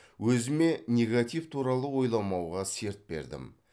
өзіме негатив туралы ойламауға серт бердім